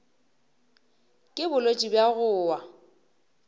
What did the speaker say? ke bolwetši bja go wa